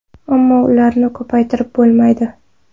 Ammo ularni ko‘paytirib bo‘lmaydi.